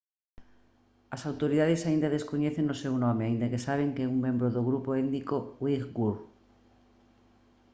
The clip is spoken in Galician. as autoridades aínda descoñecen o seu nome aínda que saben que é un membro do grupo étnico uighur